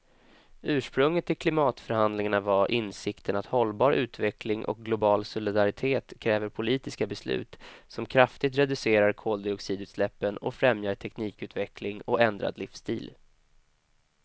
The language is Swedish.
Ursprunget till klimatförhandlingarna var insikten att hållbar utveckling och global solidaritet kräver politiska beslut som kraftigt reducerar koldioxidutsläppen och främjar teknikutveckling och ändrad livsstil.